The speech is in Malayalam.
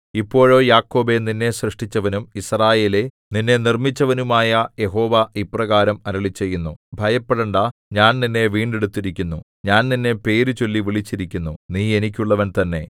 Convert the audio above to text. ഇപ്പോഴോ യാക്കോബേ നിന്നെ സൃഷ്ടിച്ചവനും യിസ്രായേലേ നിന്നെ നിർമ്മിച്ചവനുമായ യഹോവ ഇപ്രകാരം അരുളിച്ചെയ്യുന്നു ഭയപ്പെടേണ്ടാ ഞാൻ നിന്നെ വീണ്ടെടുത്തിരിക്കുന്നു ഞാൻ നിന്നെ പേര് ചൊല്ലി വിളിച്ചിരിക്കുന്നു നീ എനിക്കുള്ളവൻ തന്നെ